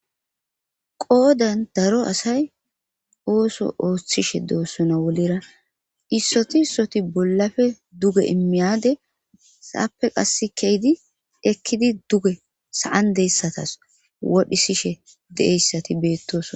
qoodan daro asay ooso ooththishe doossona wolera issoti issoti bollafe duge immiyade saappe qas keydi ekkidi duge saan deyssatas wodhisishe de7eyssati beettos